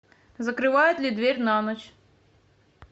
закрывают ли дверь на ночь